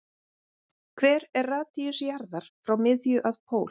Hver er radíus jarðar frá miðju að pól?